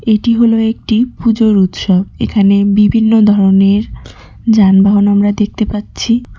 এটি হলো একটি পুজোর উৎসব এখানে বিভিন্ন ধরনের যানবাহন আমরা দেখতে পাচ্ছি।